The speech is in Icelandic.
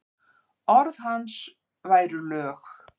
Orð hans væru lög.